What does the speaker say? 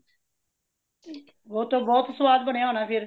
ਓਹਤਾ ਬਹੁਤ ਸੁਵਾਦ ਬਣਿਆ ਹੋਣਾ ਫਿਰ